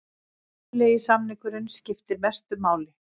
Munnlegi samningurinn skiptir mestu máli